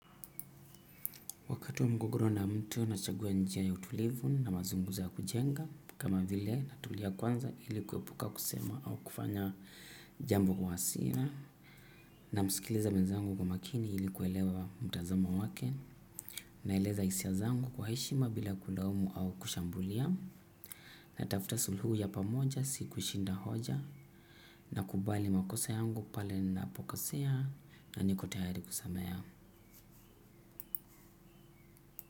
Wakati wa mgogoro na mtu nachagua njia ya utulivu na mazunguza ya kujenga kama vile natulia kwanza ili kuepuka kusema au kufanya jambo kwa hasira. Na msikiliza mwenzangu kwa makini ili kuelewa mtazamo wake na eleza hisia zangu kwa heshima bila kulaumu au kushambulia na tafta suluhu ya pamoja siku shinda hoja na kubali makosa yangu pale ninapo kosea na niko tayari kusamehea.